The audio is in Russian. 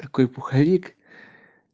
такой пуховик